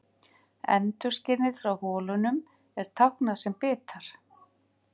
Endurskinið frá holunum er táknað sem bitar.